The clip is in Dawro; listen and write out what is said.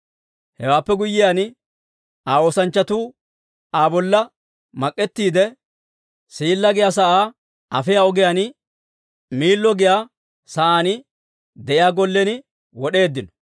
Hewaappe guyyiyaan, Aa oosanchchatuu Aa bolla mak'ettiide, Siilla giyaa sa'aa afiyaa ogiyaan Miillo giyaa saan de'iyaa gollen wod'eeddino.